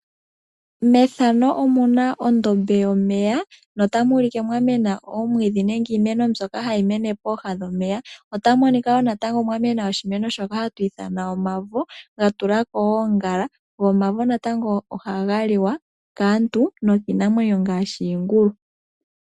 Mondombe yomeya ohamu mene iimeno oyindji lela ngaashi omavo. Omavo ngoka haga mene moondombe ohaga liwa kiinamwenyo ngaashi iingulu uuna gamena moondombe dhomeya.